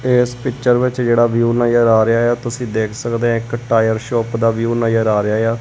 ਏਸ ਪਿੱਚਰ ਵਿੱਚ ਜਿਹੜਾ ਵਿਊ ਨਜਰ ਆ ਰਿਹਾ ਏ ਆ ਤੁਸੀ ਦੇਖ ਸਕਦੇ ਆ ਇੱਕ ਟਾਇਰ ਸ਼ੋਪ ਦਾ ਵਿਊ ਨਜਰ ਆ ਰਿਹਾ ਏ ਆ।